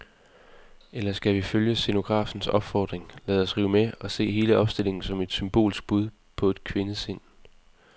Eller skal vi følge scenografens opfordring, lade os rive med og se hele opstillingen som et symbolsk bud på et kvindesind?